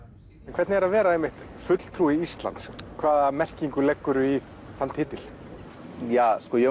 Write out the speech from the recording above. hvernig er að vera einmitt fulltrúi Íslands hvaða merkingu leggurðu í þann titil mér